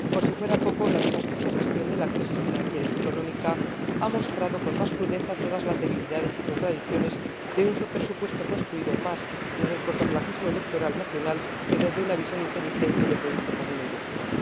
Y, por si fuera poco, la desastrosa gestión de la crisis financiera y económica ha mostrado con más crudeza todas las debilidades y contradicciones de un presupuesto construido más desde el cortoplacismo electoral nacional que desde una visión inteligente de proyecto común europeo.